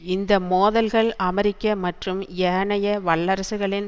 இந்த மோதல்கள் அமெரிக்க மற்றும் ஏனைய வல்லரசுகளின்